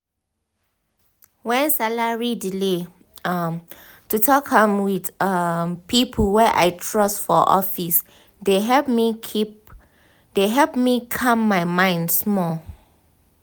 when salary delay um to talk am with um people wey i trust for office dey help me calm my mind small.